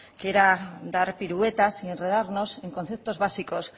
quiera dar piruetas y enredarnos en conceptos básicos